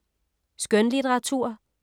Skønlitteratur